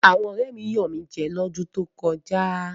Àwọn ọ̀rẹ́ mi yàn mí jẹ ní odún tó kọjá.